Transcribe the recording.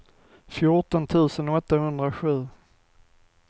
fjorton tusen åttahundrasju